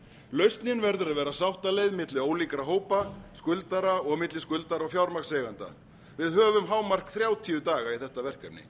lausnin verður að vera sáttaleið milli ólíkra hópa skuldara og milli skuldara og fjármagnseigenda við höfum að hámarki þrjátíu daga í þetta verkefni